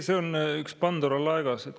See on üks Pandora laegas.